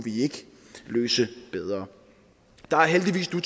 løse den bedre der er heldigvis nu